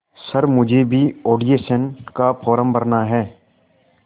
sir मुझे भी audition का फॉर्म भरना है